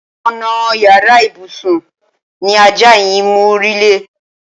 Ònà yàrá ìbùsùn ni ajá yìí mórílé.